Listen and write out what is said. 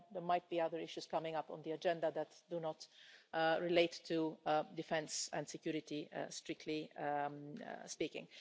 Then there might be other issues coming up on the agenda that do not relate to defence and security, strictly speaking.